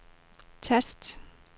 tast